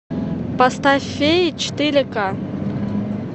поставь феи четыре ка